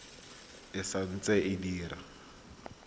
e sa ntse e dira